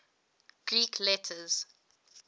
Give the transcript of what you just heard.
greek letters